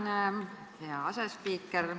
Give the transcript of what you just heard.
Tänan, hea asespiiker!